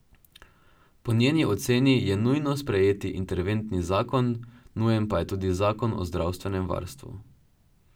Po njeni oceni je nujno sprejeti interventni zakon, nujen pa je tudi zakon o zdravstvenem varstvu.